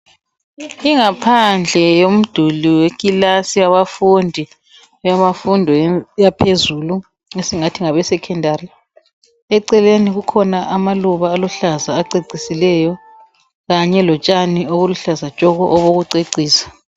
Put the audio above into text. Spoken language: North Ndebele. Ingaphandle yomduli wekilasi yomduli yabafundi yaphezulu esingathi ngabe Secondary. Eceleni kukhona amaluba aluhlaza acecisileyo, kanye lotshani obuluhlaza tshoko obokucecisa.